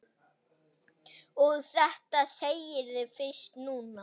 Og þetta segirðu fyrst núna.